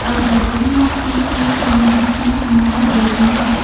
a gathering of people can be seen in the area.